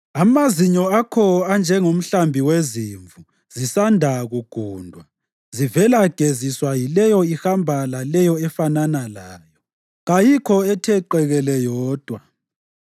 Amazinyo akho anjengomhlambi wezimvu zisanda kugundwa, zivela geziswa yileyo ihamba laleyo efanana layo; kayikho ethe qekele yodwa.